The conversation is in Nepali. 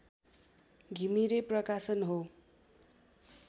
घिमिरे प्रकाशन हो